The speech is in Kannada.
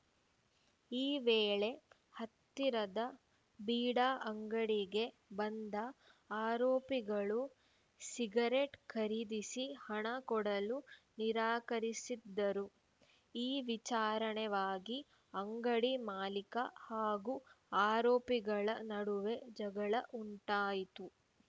ಈ ವೇಳೆ ಹತ್ತಿರದ ಬೀಡಾ ಅಂಗಡಿಗೆ ಬಂದ ಆರೋಪಿಗಳು ಸಿಗರೆಟ್‌ ಖರೀದಿಸಿ ಹಣ ಕೊಡಲು ನಿರಾಕರಿಸಿದ್ದರು ಈ ವಿಚಾರಣೆವಾಗಿ ಅಂಗಡಿ ಮಾಲಿಕ ಹಾಗೂ ಆರೋಪಿಗಳ ನಡುವೆ ಜಗಳ ಉಂಟಾಯಿತು